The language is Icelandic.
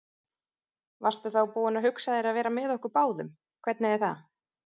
Varstu þá búin að hugsa þér að vera með okkur báðum, hvernig er það?